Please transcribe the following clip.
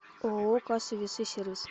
ооо кассы весы сервис